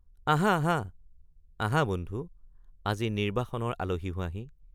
আহা আহা আহা বন্ধু আজি নিৰ্ব্বাসনৰ আলহী হোৱাহি!